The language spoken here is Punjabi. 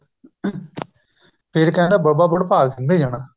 ਫ਼ੇਰ ਕਹਿੰਦਾ ਬਾਬਾ ਵੰਡਭਾਗ ਸਿੰਘ ਤੇ ਜਾਣਾ